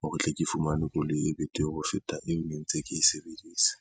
hore tle ke fumane koloi e betere ho feta eo ne ntse ke e sebedisa.